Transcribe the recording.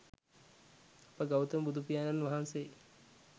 අප ගෞතම බුදුපියාණන් වහන්සේ